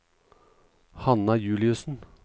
Hanna Juliussen